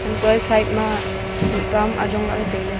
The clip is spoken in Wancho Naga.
goi side ma mih pa am ajong lah ley tai ley.